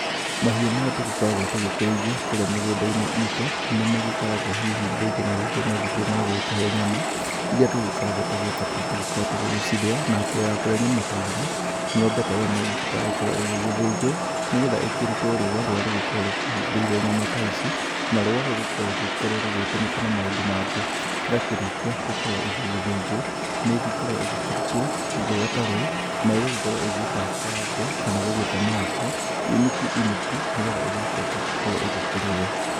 Mahiũ marĩa tũgĩkoragwo tũgĩkĩrĩithia kũrĩa mĩgũnda-inĩ itũ. Nĩmagĩkoragwo hihi rĩngĩ na rĩngĩ magĩkĩrĩ ma gũgĩtũhe nyama iria tũgĩkoragwo tũgĩbatara tũgĩkorwo tũgĩgĩcirĩa. Na mbere ya kũrĩa nyama ta iria, ng'ombe ta ĩo nĩgĩbataraga gũkorwo ĩgĩgĩthĩnjwo, nĩgetha ĩkĩrutwo rũa rũrĩa rũgĩkoragwo rũkĩhumbĩire nyama ta ici. Na rũa rũu rũkoragwo rũgĩkorwo rũgĩgĩtũmĩka na maũndũ mangĩ. Yakĩrĩkia gũkorwo ĩgĩgĩthĩnjwo, nĩgĩkoragwo ĩgĩkĩrutwo rũa ta rũu na ĩgagĩkorwo ĩgĩtabũrangwo, kana gũgĩtemangwo, inuku inuku, nĩgetha ĩgĩgĩcoke gũkorwo ĩgĩkĩrĩo.